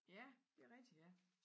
Ja det rigtig ja